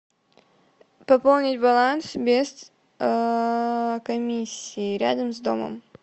пополнить баланс без комиссии рядом с домом